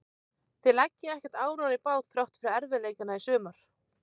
Þið leggið ekkert árar í bát þrátt fyrir erfiðleikana í sumar?